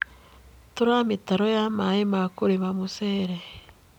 Tura mĩtaro ya Mai ma kũrĩma mũcere.